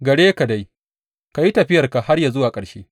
Gare ka dai, ka yi tafiyarka har zuwa ƙarshe.